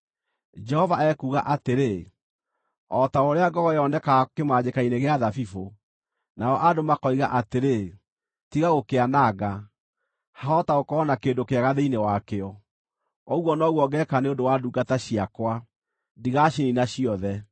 Jehova ekuuga atĩrĩ: “O ta ũrĩa ngogoyo yonekaga kĩmanjĩka-inĩ gĩa thabibũ, nao andũ makoiga atĩrĩ, ‘Tiga gũkĩananga, hahota gũkorwo na kĩndũ kĩega thĩinĩ wakĩo,’ ũguo noguo ngeeka nĩ ũndũ wa ndungata ciakwa; ndigaciniina ciothe.